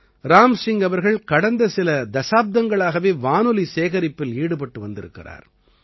ராம் சிங் அவர்கள் கடந்த சில தசாப்தங்களாகவே வானொலி சேகரிப்பில் ஈடுபட்டு வந்திருக்கிறார்